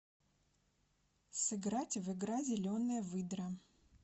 сыграть в игра зеленая выдра